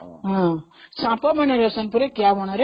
ହଁ ସାପମାନେ ରୁହନ୍ତି କିଆମୂଳରେ